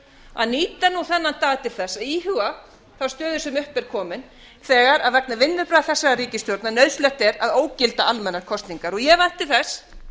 að nýta nú þennan dag til þess að íhuga þá stöðu sem upp er komin þegar vegna vinnubragða þessarar ríkisstjórnar nauðsynlegt er að ógilda almennar kosningar ég vænti þess